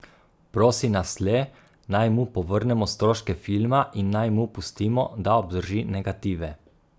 Prosi nas le, naj mu povrnemo stroške filma in naj mu pustimo, da obdrži negative.